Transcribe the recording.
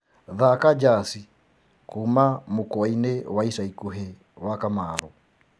thaka jazi kuuma mũkwaĩnĩ wa ĩca ĩkũhĩ wa kamaru